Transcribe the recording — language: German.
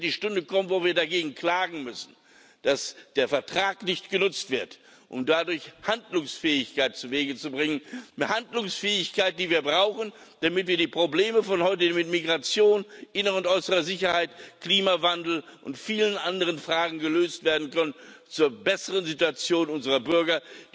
Es wird die Stunde kommen, wo wir dagegen klagen müssen, dass der Vertrag nicht genutzt wird, um dadurch Handlungsfähigkeit zuwege zu bringen eine Handlungsfähigkeit, die wir brauchen, damit wir die Probleme von heute bei Migration, innerer und äußerer Sicherheit, Klimawandel und bei vielen anderen Fragen lösen können, zur besseren Situation unserer Bürger.